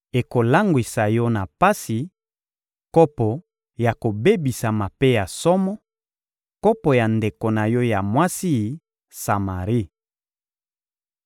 Ekolangwisa yo na pasi: kopo ya kobebisama mpe ya somo, kopo ya ndeko na yo ya mwasi, Samari.